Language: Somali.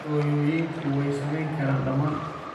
Hooyooyinku way samayn karaan dhammaan